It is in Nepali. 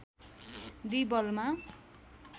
२ बलमा